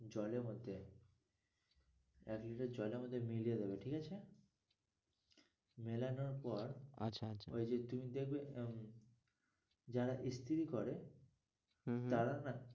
জল এর মধ্যে এক litter জল এর মধ্যে মিলিয়ে দেবে ঠিক আছে মেলানোর পর আচ্ছা আচ্ছা ওই যে তুমি দেখবে যারা ইস্ত্রি করে হম হম তারা না